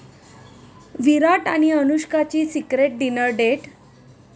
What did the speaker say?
विराट आणि अनुष्काची secret dinner date